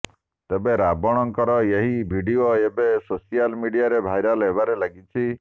ତେବେ ରାବଣଙ୍କର ଏହି ଭିଡିଓ ଏବେ ସୋସିଆଲ ମିଡିଆରେ ଭାଇରାଲ ହେବାରେ ଲାଗିଛି